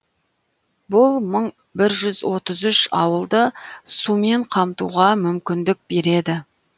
бұл мың бір жүз отыз үш ауылды сумен қамтуға мүмкіндік береді